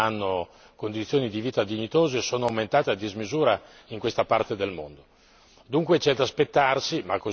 le persone indigenti, le persone che non hanno condizioni di vita dignitose sono aumentate a dismisura in questa parte del mondo.